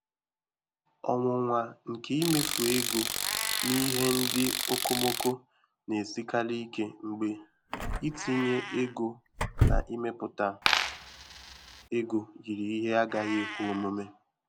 Ọnwụnwa nke imefu ego n'ihe ndị okomoko na-esikarị ike mgbe itinye ego n'imepụta ego yiri ihe agaghị ekwe omume.